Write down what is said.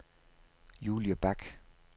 Julie Bak